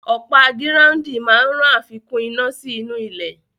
Ọ̀pá gíráúndìn máa ràn àfikún iná sí inú ilẹ̀